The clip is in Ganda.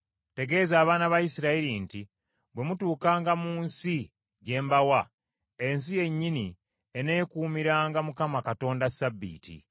“Tegeeza abaana ba Isirayiri nti bwe mutuukanga mu nsi gye mbawa, ensi yennyini eneekuumiranga Mukama Katonda ssabbiiti.